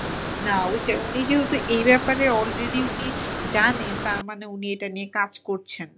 না ওইটাই। উনি যেহেতু এই ব্যাপারে already উনি জানেন তার মানে উনি এটা নিয়ে কাজ করছেন।